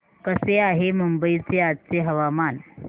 कसे आहे मुंबई चे आजचे हवामान